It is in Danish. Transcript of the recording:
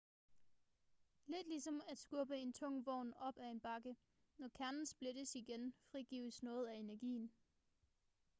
lidt ligesom at skubbe en tung vogn op ad en bakke når kernen splittes igen frigives noget af energien